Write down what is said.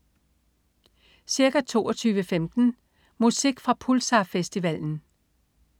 Ca. 22.15 Musik fra Pulsar-festivalen